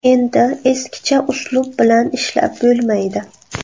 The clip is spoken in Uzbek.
Endi eskicha uslub bilan ishlab bo‘lmaydi.